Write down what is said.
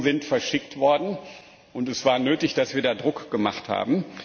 Die Rechnungen sind verschickt worden und es war nötig, dass wir da Druck gemacht haben.